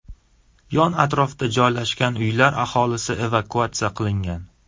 Yon-atrofda joylashgan uylar aholisi evakuatsiya qilingan.